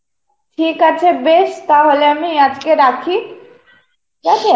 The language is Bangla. ঠিক আছে বেশ তাহলে আমি আজকে রাখি, ঠিক আছে?